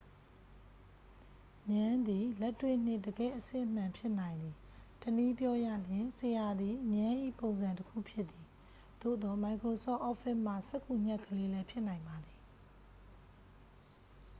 ငြမ်းသည် လက်တွေ့နှင့် တကယ့်အစစ်အမှန် ဖြစ်နိုင်သည် တစ်နည်းပြောရလျှင် ဆရာသည် ငြမ်း၏ပုံစံတစ်ခုဖြစ်သည် သို့သော် microsoft office မှစက္ကူညှပ်ကလေးလည်း ဖြစ်နိုင်ပါသည်